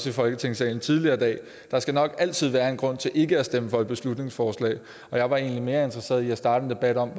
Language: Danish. i folketingssalen tidligere i dag der skal nok altid være en grund til ikke at stemme for et beslutningsforslag og jeg var egentlig mere interesseret i at starte en debat om